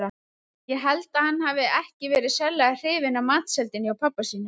Ég held að hann hafi ekki verið sérlega hrifinn af matseldinni hjá pabba sínum.